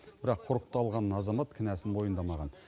бірақ құрықталған азамат кінәсін мойындамаған